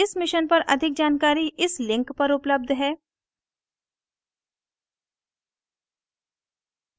इस mission पर अधिक जानकारी इस link पर उपलब्ध है